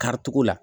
Karitogo la